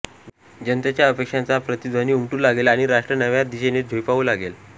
जनतेच्या अपेक्षांचा प्रतिध्वनी उमटू लागेल आणि राष्ट्र नव्या दिशेने झेपावू लागेल